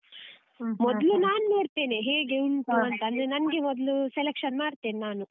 ನಾನ್ ನೋಡ್ತೇನೆ ಹೇಗೆ ಉಂಟು ಅಂತ ಅಂದ್ರೆ ನಂಗೆ ಮೊದ್ಲು selection ಮಾಡ್ತೇನೆ ನಾನು.